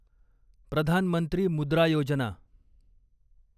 Pradhan Mantri Mudra Yojana